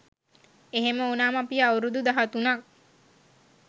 එහෙම උනාම අපි අවුරුදු දහතුනක්